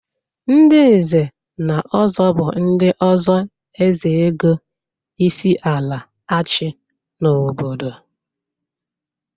Ndị nze na ọzọ bụ ndị oso ezeogo isiala achị n'obodo.